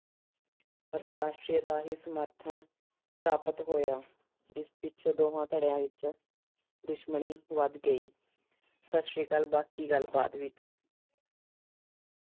ਅਤੇ Austria ਦਾ ਹੀ ਸਮਰਥਨ ਪ੍ਰਾਪਤ ਹੋਇਆ। ਇਸ ਪਿੱਛੇ ਦੋਹਾਂ ਧੜਿਆਂ ਵਿੱਚ ਦੁਸ਼ਮਣੀ ਵਧ ਗਈ। ਸਤਿ ਸ੍ਰੀ ਅਕਾਲ। ਬਾਕੀ ਗੱਲ ਬਾਅਦ ਵਿੱਚ।